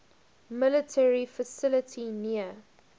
military facility near